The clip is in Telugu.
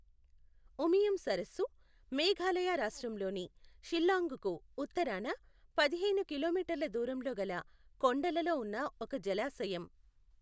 ఉమియం సరస్సు మేఘాలయ రాష్ట్రంలోని షిల్లాంగ్కు ఉత్తరాన పదిహేను కిలోమీటర్ల దూరంలో గల కొండలలో ఉన్న ఒక జలాశయం.